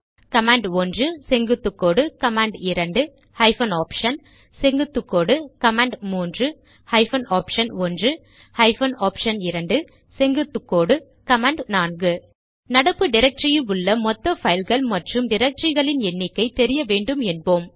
கமாண்ட்1 செங்குத்துக்கோடு command two hyphen option செங்குத்துக்கோடு command three hyphen option one hyphen option two செங்குத்துக்கோடு கமாண்ட்4 நடப்பு டிரக்டரியில் உள்ள மொத்த பைல்கள் மற்றும் டிரக்டரிகளின் எண்ணிக்கை தெரிய வேண்டும் என்போம்